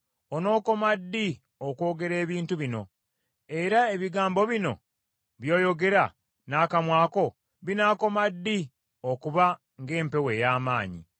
“Onookoma ddi okwogera ebintu bino? Era ebigambo bino by’oyogera n’akamwa ko binaakoma ddi okuba ng’empewo ey’amaanyi?